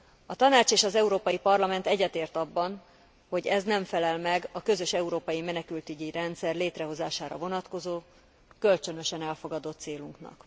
A Tanács és az Európai Parlament egyetért abban, hogy ez nem felel meg a közös európai menekültügyi rendszer létrehozására vonatkozó, kölcsönösen elfogadott célunknak.